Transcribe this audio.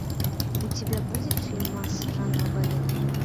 у тебя будет фильмас жанра балет